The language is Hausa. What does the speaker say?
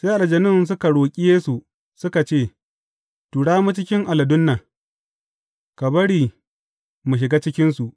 Sai aljanun suka roƙi Yesu, suka ce, Tura mu cikin aladun nan, ka bari mu shiga cikinsu.